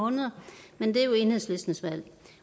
måneder men det er jo enhedslistens valg